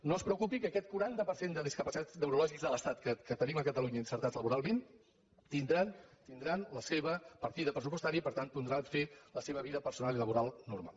no es preocupi que aquest quaranta per cent de discapacitats neurològics de l’estat que tenim a catalunya inserits laboralment tindran la seva partida pressupostària i per tant podran fer la seva vida personal i laboral normal